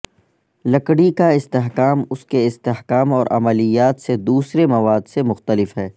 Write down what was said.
لکڑی کا استحکام اس کے استحکام اور عملیات سے دوسرے مواد سے مختلف ہے